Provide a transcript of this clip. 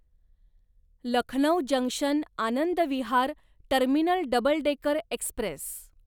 Lucknow junction Anand Vihar terminal double decker Express